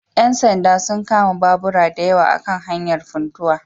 Ƴan sanda sun kama babura dayawa a kan hanyar Funtuwa